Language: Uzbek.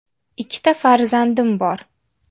Ikkita farzandim bor.